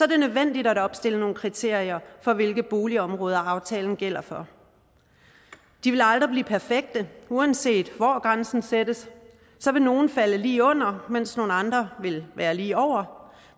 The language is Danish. det nødvendigt at opstille nogle kriterier for hvilke boligområder aftalen gælder for de vil aldrig blive perfekte uanset hvor grænsen sættes vil nogle falde lige under mens andre vil være lige over